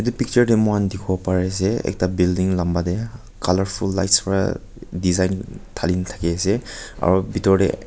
itu picture deh muihan dikhiwo pari ase ekta building lamba deh colourful lights wa design thalina thaki ase aru bitor deh.